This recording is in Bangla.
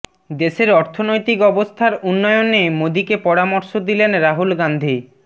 দেশের অর্থনৈতিক অবস্থার উন্নয়নে মোদীকে পরামর্শ দিলেন রাহুল গাঁধী